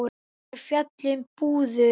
er fjallað um púður.